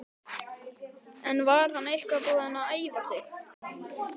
En var hann eitthvað búinn að æfa sig?